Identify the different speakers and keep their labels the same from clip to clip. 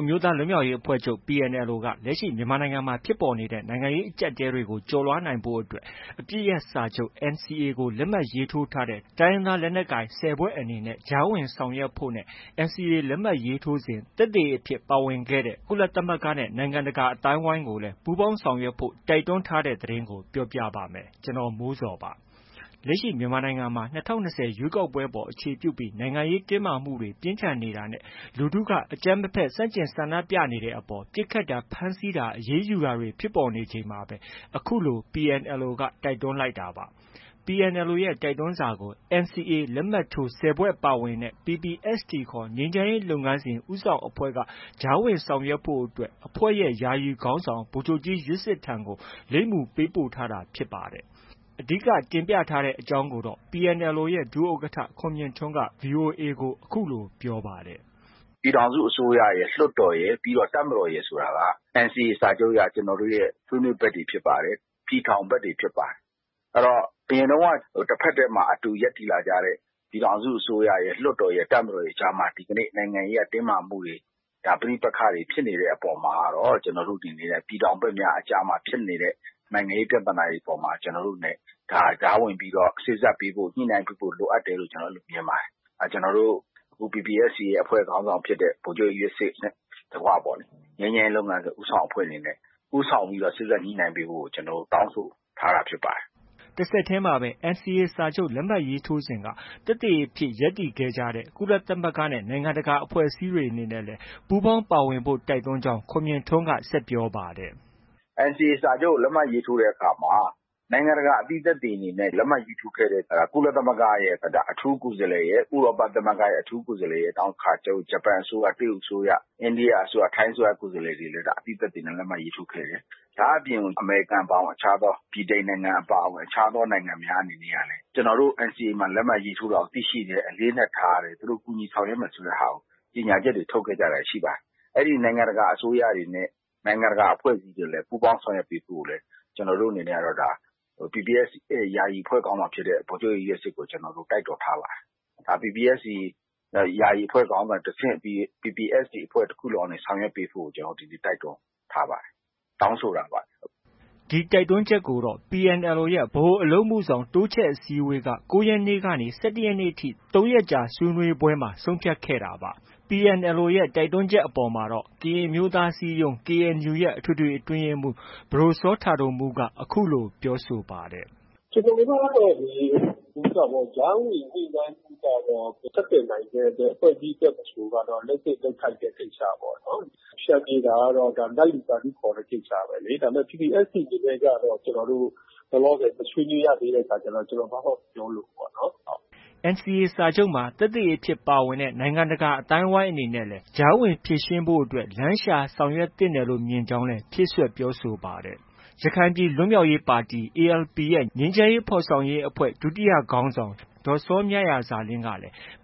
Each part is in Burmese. Speaker 1: အမျိုးသားလွတ်မြောက်ရေးအဖွဲ့ချုပ် က လက်ရှိ မြန်မာနိုင်ငံမှာ ဖြစ်ပေါ်နေတဲ့ အကျပ်အတည်းတွေကို ကျော်လွှားနိုင်ရေးအတွက် အပစ်ရပ်စာချုပ် NCA လက်မှတ်ထိုး ၁၀ ဖွဲ့အနေနဲ့ ကြားဝင်ဆောင်ရွက်ဖို့နဲ့ NCA လက်မှတ်ရေးထိုးစဉ် သက်သေအဖြစ် ပါဝင်ခဲ့တဲ့ ကုလသမဂ္ဂနဲ့ နိုင်ငံတကာ အသိုင်းအဝိုင်းကိုလည်း ပူးပေါင်းဆောင်ရွက်ဖို့ တင်ပြထားပါတယ်။ အပြည့်အစုံကို ကိုမိုးဇော် စုစည်းတင်ပြထားပါတယ်။ လက်ရှိ မြန်မာနိုင်ငံမှာ ၂၀၂၀ ရွေးကောက်ပွဲအပေါ် အခြေပြုပြီး နိုင်ငံရေးတင်းမာမှုတွေ ပြင်းထန်နေတာနဲ့ လူထုက အကြမ်းမဖက် ဆန့်ကျင် ဆန္ဒပြနေတဲ့အပေါ် ပစ်ခတ်တာ၊ ဖမ်းဆီးတာ၊ အရေးယူတာတွေ ဖြစ်ပေါ်နေချိန်မှာပဲ အခုလို PNLO က တိုက်တွန်းလိုက်တာပါ။ PNLO ရဲ့ တိုက်တွန်းစာကို NCA လက်မှတ်ထိုး ၁၀ ဖွဲ့ ပါဝင်တဲ့ PPST ခေါ် ငြိမ်းချမ်းရေးလုပ်ငန်းစဉ် ဦးဆောင်အဖွဲ့က ကြားဝင်ဆောင်ရွက်ဖို့အတွက် အဖွဲ့ရဲ့ ယာယီအဖွဲ့ခေါင်းဆောင် ဗိုလ်ချုပ်ကြီးယွက်စစ်ထံကို လိပ်မူပေးပို့ထားတာ ဖြစ်ပါတယ်။ အဓိက တင်ပြရတဲ့ အကြောင်းကိုတော့ PNLO ရဲ့ ဒုဥက္ကဋ္ဌ ခွန်မြင့်ထွန်းက ဗွီအိုအေကို အခုလို ပြောပါတယ်။
Speaker 2: “ပြည်ထောင်စုအစိုးရရယ်၊ လွှတ်တော်ရယ်၊ တပ်မတော်ရယ် ဆိုတာက NCA စာချုပ်အရ ကျနော်တို့ရဲ့ ဆွေးနွေးဘက်တွေ ဖြစ်ပါတယ်၊ ပြည်ထောင်ဘက်တွေ ဖြစ်ပါတယ်။ အရင်တုန်းက တဖက်တည်းမှာ အတူရပ်တည်လာခဲ့တဲ့ ပြည်ထောင်စုအစိုးရရယ်၊ လွှတ်တော်ရယ်၊ တပ်မတော်ရယ်အကြားမှာ ဒီကနေ့ နိုင်ငံရေးအရ တင်းမာမှုတွေ ပဋိပက္ခတွေဖြစ်နေတဲ့ အပေါ်မှာကတော့ ကျနော်တို့ အနေနဲ့ ပြည်ထောင်ဘက်များအကြားမှာ ဖြစ်နေတဲ့ နိုင်ငံရေးပြဿနာတွေ အပေါ်မှာ ကျနော်တို့အနေနဲ့ ကြားဝင်ပြီးတော့ စေ့စပ်ပေးဖို့၊ ညှိနှိုင်းပေးဖို့ လိုအပ်တယ်လို့ ကျနော်တို့ မြင်ပါတယ်။ ကျနော်တို့ PPST အဖွဲ့ခေါင်းဆောင်ဖြစ်တဲ့ ဗိုလ်ချုပ်ကြီးယွက်စစ်နဲ့ တကွပေါ့လေ ငြိမ်းချမ်းရေးလုပ်ငန်းစဉ် ဦးဆောင်အဖွဲ့အနေနဲ့ ဦးဆောင်ပြီးတော့ စေ့စပ်ညှိနှိုင်းပေးဖို့ကို ကျနော်တို့ တောင်းဆ
Speaker 1: ိုထားတာ ဖြစ်ပါတယ်။” တဆက်တည်းမှာပဲ NCA စာချုပ် လက်မှတ်ထိုးစဉ်က သက်သေအဖြစ် ရပ်တည်ခဲ့တဲ့ ကုလသမဂ္ဂနဲ့ နိုင်ငံတကာ အဖွဲ့အစည်းတွေ အနေနဲ့လည်း ပူးပေါင်းပါဝင်ဖို့ တိုက်တွန်းကြောင်း ခွန်မြင့်ထွန်းက ဆက်ပြောပါတယ်
Speaker 2: ။ “NCA စာချုပ်ကို လက်မှတ်ရေးထိုးတဲ့အခါမှာ နိုင်ငံတကာ အသိသက်သေအနေနဲ့ လက်မှတ်ရေးထိုးခဲ့ကြတဲ့ ကုလသမဂ္ဂရဲ့ အထူးကိုယ်စားလှယ်၊ ဥရောပသမဂ္ဂရဲ့ အထူးကိုယ်စားလှယ်ရယ်၊ နောက် ဂျပန်အစိုးရ၊ တရုတ်အစိုးရ၊ အိန္ဒိယအစိုးရ၊ ထိုင်းအစိုးရ ကိုယ်စားလှယ်တွေလည်း အသိသက်သေအနေနဲ့ လက်မှတ်ရေးထိုးခဲ့တယ်။ ဒါ့အပြင် အမေရိကန် အပါအဝင် အခြားသော ဗြိတိန်နိုင်ငံ အပါအဝင် အခြားသောနိုင်ငံတွေ အနေနဲ့ကလည်း ကျနော်တို့ NCA လက်မှတ်ရေးထိုးတာကို သိရှိတယ်၊ အလေးအနက်ထားတယ်။ သူတို့ ကူညီဆောင်ရွက်မယ် ဆိုတာကို သူတို့ကြေညာချက်တွေ ထုတ်ခဲ့ကြတာတွေ ရှိပါတယ်။ အဲဒီ နိုင်ငံတကာ အဖွဲ့တွေနဲ့ နိုင်ငံတကာ အစိုးရတွေ အနေနဲ့လည်း ပူးပေါင်းဆောင်ရွက်ပေးဖို့ကို ကျနော်တို့အနေနဲ့ PPST ယာယီအဖွဲ့ခေါင်းဆောင် ဗိုလ်ချုပ်ကြီးယွက်စစ်ကိုလည်း တိုက်တွန်းထားပါတယ်။ PPST ယာယီအဖွဲ့ ခေါင်းဆောင်ကတဆင့် PPST တဖွဲ့လုံးကနေ ဆောင်ရွက်ပေးဖို့ကို ကျနော်တို့ တိုက်တွန်းထားပါတယ်။ တောင်းဆိုတာပါ။”
Speaker 1: ဒီတိုက်တွန်းချက်ကိုတော့ PNLO ရဲ့ ဗဟိုအလုပ်အမှုဆောင် အစည်းအဝေးက ၉ ရက်နေ့ကနေ ၁၁ နေ့ထိ ၃ ရက်ကြာ ဆွေးနွေးပွဲမှာ ဆုံးဖြတ်ခဲ့တာပါ။ ဒီတိုက်တွန်းချက်အပေါ်မှာတော့ ကရင်အမျိုးသားအစည်းအရုံး ရဲ့ အထွေထွေအတွင်းရေးမှူး ပဒိုစောတာဒိုမူးက အခုလို ပြောဆိုပါတယ်။
Speaker 3: “ကျနော်တို့ကတော့ ကြားဝင် ညှိနှိုင်းပေးဖို့ကတော့ ဆက်သွယ်နိုင်တဲ့ ဘယ်အဖွဲ့အစည်းအတွက် မဆိုကတော့ လုပ်သင့်လုပ်ထိုက်တဲ့ ကိစ္စပေါ့နော်
Speaker 2: ။ ဖျန်ဖြေတာကတော့ နတ်လူသာဓုခေါ်တဲ့ ကိစ္စပဲလေ။ ဒါပေမယ့် PPST အနေနဲ့ကတော့ ကျနော်တို့ လောလောဆယ် မဆွေးနွေးရသေးတဲ့ အခါကျတော့ ကျနော် ဘာမှ မပြောလိုဘူးေ့ပါ့နော်။”
Speaker 1: NCA စာချုပ်မှာ သက်သေအဖြစ် ပါဝင်ခဲ့တဲ့ နိုင်ငံတကာ အသိုင်းအဝိုင်းအနေနဲ့လည်း ကြားဝင်ဖြေရှင်းရေးအတွက် လမ်းရှာ ဆောင်ရွက်သင့်တယ်လို့ မြင်ကြောင်းလည်း ဖြည့်စွက် ပြောဆိုပါတယ်။ ရခိုင်အမျိုးသားလွတ်မြောက်ရေးပါတီ ရဲ့ ငြိမ်းချမ်းရေးဖော်ဆောင်ရေးအဖွဲ့ ဒုတိယခေါင်းဆောင် ဒေါ်စောမြရာဇာလင်းက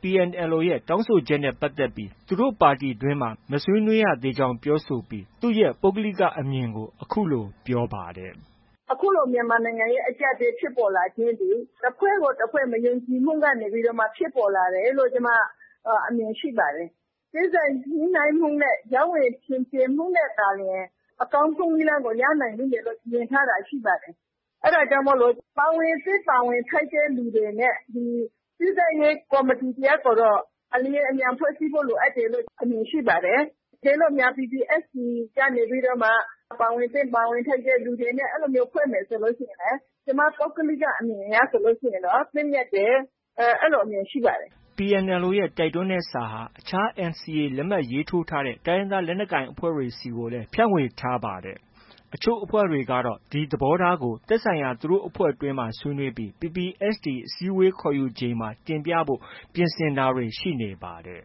Speaker 1: PNLO ရဲ့ တောင်းဆိုချက်နဲ့ ပတ်သက်ပြီး သူတို့ပါတီတွင်းမှာ မဆွေးနွေးရသေးကြောင်း ပြောဆိုပြီး သူ့ရဲ့ ပုဂ္ဂလိကအမြင်ကို အခုလို ပြောပါတယ်။
Speaker 3: “အခုလို မြန်မာနိုင်ငံရဲ့ အကျပ်အတည်း ဖြစ်ပေါ်လာခြင်းသည် တဖွဲ့ကိုတဖွဲ့ မယုံကြည်မှုကနေ ဖြစ်ပေါ်လာတယ်လို့ ကျမ အမြင်ရှိပါတယ်။ စေ့စပ်ညှိနှိုင်းမှုနဲ့ ကြားဝင်ဖျန်ဖြေမှုနဲ့သာလျှင် အကောင်းဆုံးနည်းလမ်းကို ရနိုင်လိမ့်မယ်လို့ မြင်ထားတာ ရှိပါတယ်။ အဲဒါကြောင့်မို့ ပါဝင်သင့် ပါဝင်ထိုက်တဲ့သူတွေနဲ့ ဒီ စေ့စပ်ရေးကော်မတီ တရပ်ကိုတော့ အလျင်အမြန် ဖွဲ့စည်းဖို့ လိုအပ်တယ်လို့ အမြင်ရှိပါတယ်။ တကယ်လို့များ PPST ကနေပြီးတော့မှ ပါဝင်သင့် ပါဝင်ထိုက်တဲ့ သူတွေနဲ့ အဲလိုမျိုး ဖွဲ့မယ်ဆိုရင် ကျမ ပုဂ္ဂလိက အမြင်အရဆိုရင်တော့ သင့်မြတ်တယ်။ အဲလိုအမြင်ရှိပါတယ်။
Speaker 1: ” PNLO ရဲ့ တိုက်တွန်းတဲ့စာဟာ အခြား NCA လက်မှတ်ရေးထိုးထားတဲ့ တိုင်းရင်းသား လက်နက်ကိုင်အဖွဲ့တွေဆီကိုလည်း ဖြန့်ဝေထားပါတယ်။ အချို့အဖွဲ့တွေကတော့ ဒီသဘောထားကို သက်ဆိုင်ရာ သူတို့အဖွဲ့တွင်းမှာ ဆွေးနွေးပြီး PPST အစည်းအဝေး ခေါ်ယူချိန်မှာ တင်ပြဖို့ ပြင်ဆင်တာတွေ ရှိနေပါတယ်။